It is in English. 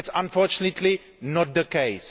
That is, unfortunately, not the case.